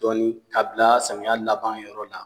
Dɔni k'a bila samiya laban yɔrɔ la